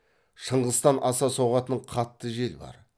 шыңғыстан аса соғатын қатты жел бар